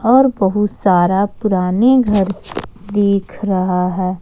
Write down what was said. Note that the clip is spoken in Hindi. और बहुत सारा पुराने घर दिख रहा है।